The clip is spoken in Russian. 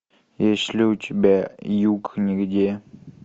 есть ли у тебя юг нигде